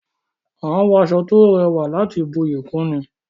A n wọ aṣọ to rẹwà láti buyi kún ni